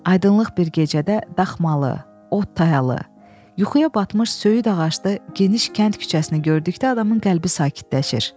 Aydınlıq bir gecədə daxmalı, ot tayalı, yuxuya batmış söyüd ağaclı geniş kənd küçəsini gördükdə adamın qəlbi sakitləşir.